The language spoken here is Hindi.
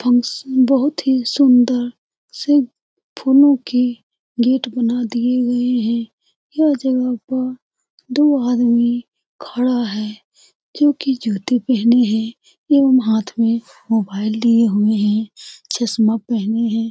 फंक्शन बहुत ही सुंदर से फूलों के गेट बना दिए गये हैं यह जगह पर दो आदमी खड़ा है जो की जूते पहने है ये लोग हाथ में मोबाइल लिए हुए हैं चश्मा पहने हैं ।